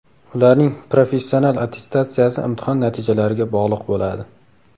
Ularning professional attestatsiyasi imtihon natijalariga bog‘liq bo‘ladi.